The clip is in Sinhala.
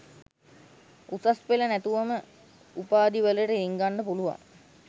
උසස්පෙළ නැතුවම උපාදිවලට රිංගන්න පුළුවන්